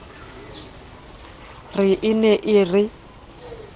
re e ne e re